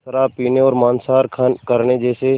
शराब पीने और मांसाहार करने जैसे